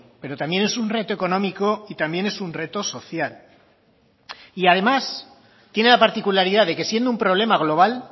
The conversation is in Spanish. pero también es un reto económico y también es un reto social y además tiene la particularidad de que siendo un problema global